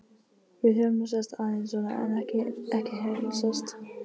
Við höfum nú sést aðeins svona en ekki heilsast.